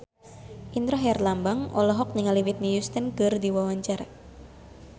Indra Herlambang olohok ningali Whitney Houston keur diwawancara